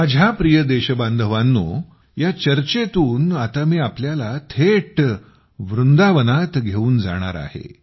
माझ्या प्रिय देशबांधवांनो या चर्चेतून आता मी तुम्हाला थेट वृंदावनात घेऊन जाणार आहे